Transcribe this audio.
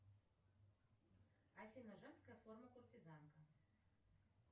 афина женская форма куртизанка